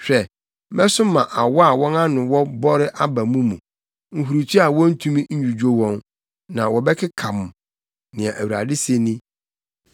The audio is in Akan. “Hwɛ, mɛsoma awɔ a wɔn ano wɔ bɔre aba mo mu, nhurutoa a wontumi nnwudwo wɔn, na wɔbɛkeka mo,” nea Awurade se ni.